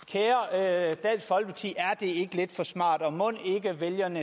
at det folkeparti er det ikke lidt for smart og mon ikke vælgerne